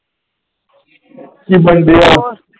ਜੇ ਬੰਦੇ ,